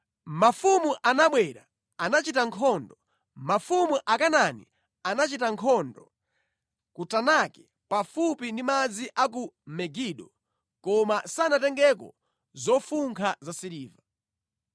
“Mafumu anabwera, anachita nkhondo; mafumu Akanaani anachita nkhondo ku Tanaki pafupi ndi madzi a ku Megido, koma sanatengeko zofunkha zasiliva.